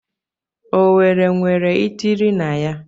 Owerri enwere itiri na ya?